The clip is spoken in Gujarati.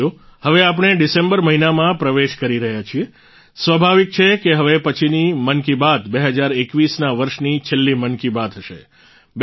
સાથીઓ હવે આપણે ડિસેમ્બર મહિનામાં પ્રવેશ કરી રહ્યા છીએ સ્વાભાવિક છે કે હવે પછીની મન કી બાત 2021ના વર્ષની છેલ્લી મન કી બાત હશે